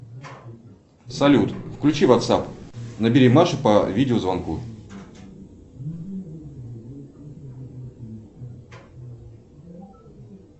салют включи ватсап набери машу по видеозвонку